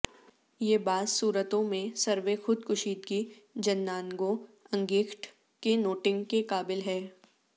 یہ بعض صورتوں میں سروے خود کشیدگی جننانگوں انگیخت کہ نوٹنگ کے قابل ہے